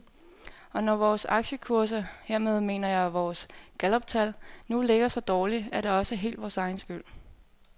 Og når vores aktiekurser, hermed mener jeg vores galluptal, nu ligger så dårligt, er det også helt vores egen skyld.